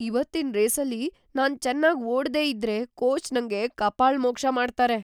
ಇವತ್ತಿನ್ ರೇಸಲ್ಲಿ ನಾನ್ ಚೆನ್ನಾಗ್ ಓಡ್ದೇ ಇದ್ರೆ ಕೋಚ್ ನಂಗೆ ಕಪಾಳಮೋಕ್ಷ ಮಾಡ್ತಾರೆ.